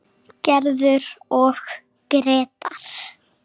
Gerður og Grétar.